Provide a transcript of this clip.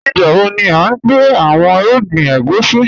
Nígbàwo ni à n gbẹ̀ awọn irúgbìn ègúsi?